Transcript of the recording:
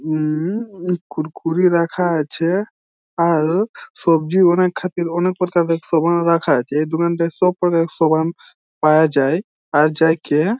উমমমম কুড়কুড়ে রাখা আছেআর সবজি অনেক অনেক প্রকারের খাবার রাখা আছে এই দোকানটায় সবকটা সামান পাওয়া যায় |